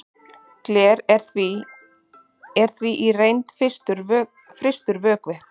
gler er því í reynd frystur vökvi